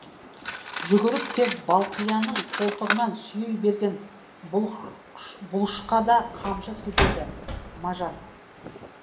жүгіріп кеп балқияның қолтығынан сүйей берген бұлышқа да қамшы сілтеді мажан